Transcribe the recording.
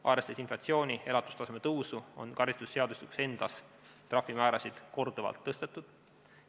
Arvestades inflatsiooni ja elatustaseme tõusu, on karistusseadustikus endas trahvimäärasid korduvalt tõstetud.